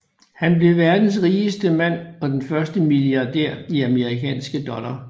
Han blev verdens rigeste mand og den første milliardær i amerikanske dollar